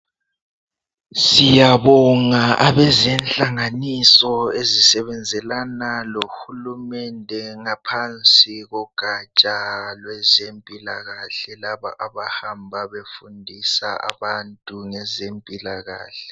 Siyabonga abezenhlanganiso ezisebenzelana lohulumende ngaphansi kogaja lwezempilakahle laba abahamba befundisa abantu ngezempilakahle.